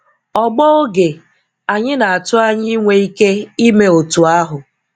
Ọ̀gbọ̀ oge, anyị na-atụ anya inwe ike ime otú ahụ.